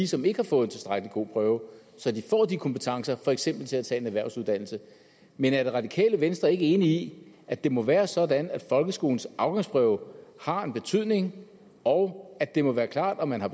som ikke har fået en tilstrækkelig god prøve så de får de kompetencer for eksempel til at tage en erhvervsuddannelse men er det radikale venstre ikke enig i at det må være sådan at folkeskolens afgangsprøve har en betydning og at det må være klart om man har